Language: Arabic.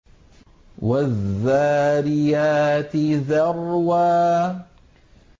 وَالذَّارِيَاتِ ذَرْوًا